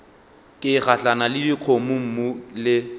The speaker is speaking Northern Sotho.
ke gahlana le dikgomommuu le